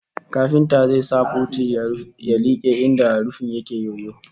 Kafintan zai sa puti ya like inda rufin yake yoyo